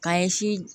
K'an ye si